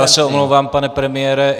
Já se omlouvám, pane premiére.